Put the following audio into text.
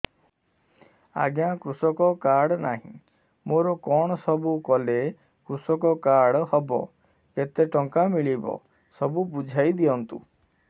ଆଜ୍ଞା କୃଷକ କାର୍ଡ ନାହିଁ ମୋର କଣ ସବୁ କଲେ କୃଷକ କାର୍ଡ ହବ କେତେ ଟଙ୍କା ମିଳିବ ସବୁ ବୁଝାଇଦିଅନ୍ତୁ